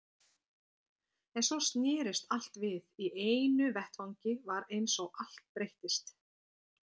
En svo snerist allt við, í einu vetfangi var eins og allt breyttist.